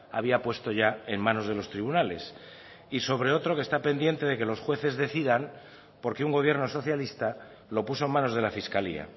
había puesto ya en manos de los tribunales y sobre otro que está pendiente de que los jueces decidan porque un gobierno socialista lo puso en manos de la fiscalía